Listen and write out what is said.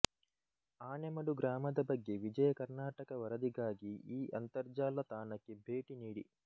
ಆನೆಮಡು ಗ್ರಾಮದ ಬಗ್ಗೆ ವಿಜಯ ಕರ್ನಾಟಕ ವರದಿಗಾಗಿ ಈ ಅಂತರ್ಜಾಲ ತಾಣಕ್ಕೆ ಭೇಟಿ ನೀಡಿ